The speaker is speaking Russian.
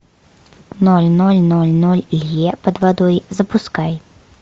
ноль ноль ноль ноль лье под водой запускай